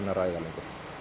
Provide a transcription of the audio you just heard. að ræða